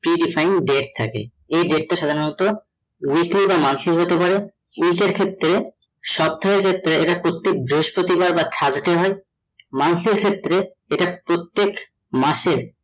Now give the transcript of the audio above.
pre defined debt থাকে, এই debt টা সাধারণত weekly বা monthly হতে পারে এটার ক্ষেত্রে সব থেকে এটা প্রত্যেক বৃহষ্পতিবার বা Thursday হয় মানুষের ক্ষেত্রে প্রত্যেক মাসে